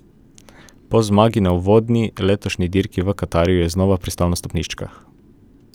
Po zmagi na uvodni letošnji dirki v Katarju je znova pristal na stopničkah.